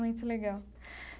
Muito legal.